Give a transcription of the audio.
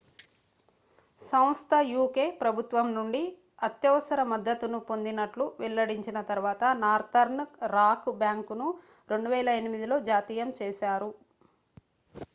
సంస్థ uk ప్రభుత్వం నుండి అత్యవసర మద్దతు ను పొందినట్లు వెల్లడించిన తరువాత నార్తర్న్ రాక్ బ్యాంకును 2008లో జాతీయం చేశారు